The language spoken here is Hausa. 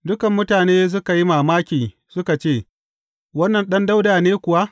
Dukan mutane suka yi mamaki, suka ce, Wannan Ɗan Dawuda ne kuwa?